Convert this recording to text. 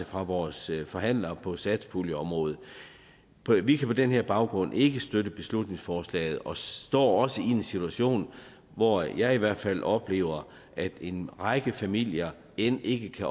fra vores forhandlere på satspuljeområdet vi kan på den her baggrund ikke støtte beslutningsforslaget og står også i en situation hvor jeg i hvert fald oplever at en række familier end ikke kan